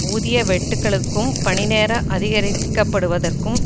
ஊதிய வெட்டுக்களுக்கும் பணி நேரம் அதிகரிக்கப்படுவதற்கும்